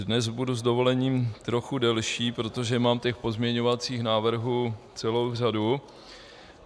Dnes budu s dovolením trochu delší, protože mám těch pozměňovacích návrhů celou řadu.